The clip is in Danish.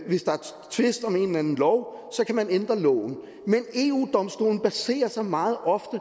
hvis der er tvist om en eller anden lov ændre loven men eu domstolen baserer sig meget ofte